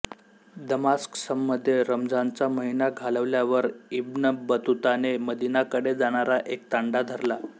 दमास्कसमध्ये रमझानचा महिना घालवल्यावर इब्न बतूताने मदीनाकडे जाणारा एक तांडा धरला